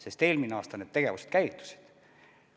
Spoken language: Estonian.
Sest eelmine aasta need tegevused käivitusid.